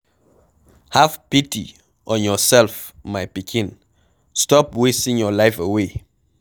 Have pity on yourself my pikin, stop wasting your life away.